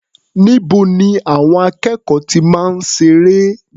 Níbo ni àwọn akẹ́kọ̀ọ́ ti máa ń ṣeré?